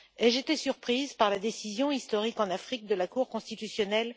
Ai je été surprise par la décision, historique en Afrique, de la Cour constitutionnelle?